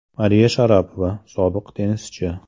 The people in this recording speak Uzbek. Mariya Sharapova, sobiq tennischi.